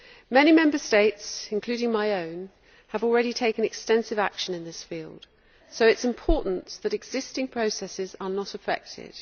Many Member States, including my own, have already taken extensive action in this field, so it is important that existing processes are not affected.